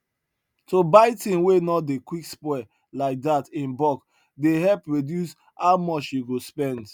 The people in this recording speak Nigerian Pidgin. to buy thing wey no dey quick spoil like dat in bulk dey help reduce how much you go spend